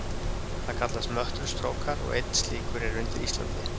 Það kallast möttulstrókar, og einn slíkur er undir Íslandi.